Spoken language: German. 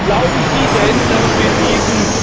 Glauben Sie denn, dass wir diesen